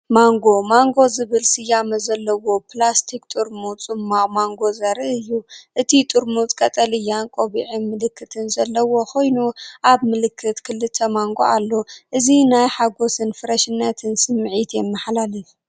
ማንጎ ማንጎ ዝብል ስያመ ዘለዎ ፕላስቲክ ጥርሙዝ ጽማቝ ማንጎ ዘርኢ እዩ። እቲ ጥርሙዝ ቀጠልያ ቆቢዕን ምልክትን ዘለዎ ኮይኑ፡ ኣብ ምልክት ክልተ ማንጎ ኣሎ። እዚ ናይ ሓጎስን ፍረሽነትን ስምዒት የመሓላልፍ።